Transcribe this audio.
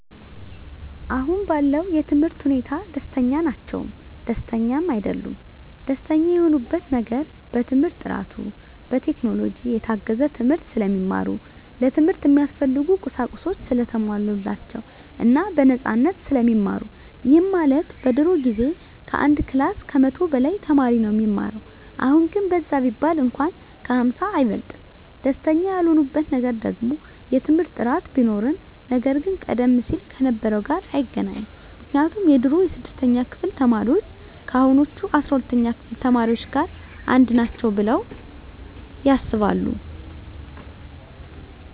አሁን ባለው የትምህርት ሁኔታ ደስተኛ ናቸውም ደስተኛም አይደሉምም። ደስተኛ የሆኑበት ነገር በትምህርት ጥራቱ፣ በቴክኖሎጂ የታገዘ ትምህርት ስለሚማሩ፣ ለትምህርት እሚያስፈልጉ ቁሳቁሶች ሰለተሟሉላቸው እና በነፃነት ስለሚማሩ ይህም ማለት በድሮ ጊዜ ከአንድ ክላስ ከመቶ በላይ ተማሪ ነው እሚማረው አሁን ግን በዛ ቢባል እንኳን ከ ሃምሳ አይበልጥም። ደስተኛ ያልሆኑበት ነገር ደግሞ የትምህርት ጥራት ቢኖርም ነገር ግን ቀደም ሲል ከነበረው ጋር አይገናኝም ምክንያቱም የድሮ የስድስተኛ ክፍል ተማሪዎች ከአሁኖቹ አስራ ሁለተኛ ክፍል ተማሪዎች ጋር አንድ ናቸው ብለው ያስባሉ።